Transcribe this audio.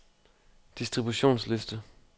distributionsliste